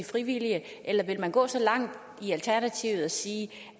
frivillige eller vil man gå så langt i alternativet til at sige